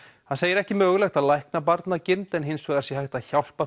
hann segir ekki mögulegt að lækna barnagirnd en hins vegar sé hægt að hjálpa